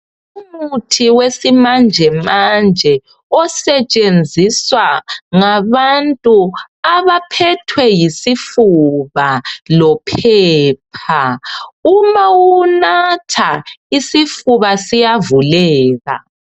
Umuthi wesimanjemanje osetshenziswa ngabantu abaphethwe yisifuba lophepha. Uma uwunatha isifuba siyavuleka.